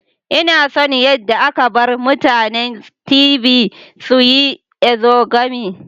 Ina son yadda aka bar mutanen Tiv su yi exogamy.